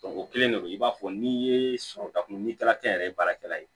o kelen de don i b'a fɔ n'i ye sɔrɔta kun ni tala kɛ n yɛrɛ ye baarakɛla ye